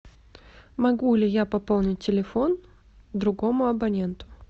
могу ли я пополнить телефон другому абоненту